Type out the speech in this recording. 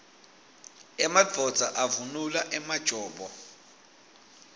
emadvodza avunula emajobo